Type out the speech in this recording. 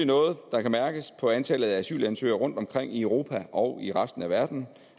noget der kan mærkes på antallet af asylansøgere rundtomkring i europa og i resten af verden